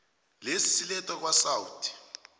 lesi silethwa kwasouth